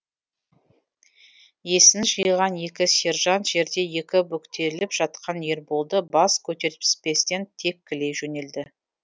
есін жиған екі сержант жерде екі бүктеліп жатқан ерболды бас көтертпестен тепкілей жөнелді